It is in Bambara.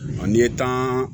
N'i ye tan